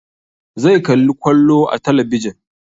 Zai kalli kwallo a talabijin